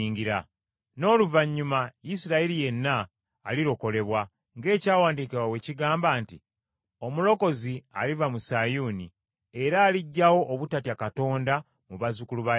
N’oluvannyuma Isirayiri yenna alirokolebwa, ng’Ekyawandiikibwa bwe kigamba nti, “Omulokozi aliva mu Sayuuni, era aliggyawo obutatya Katonda mu bazzukulu ba Yakobo.